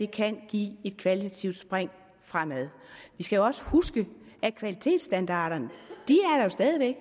kan give et kvalitativt spring fremad vi skal også huske at kvalitetsstandarderne stadig væk